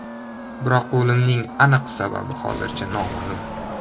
Biroq o‘limining aniq sababi hozircha noma’lum.